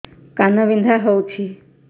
କାନ ବିନ୍ଧା ହଉଛି